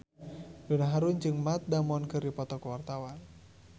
Donna Harun jeung Matt Damon keur dipoto ku wartawan